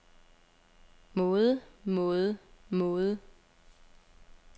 måde måde måde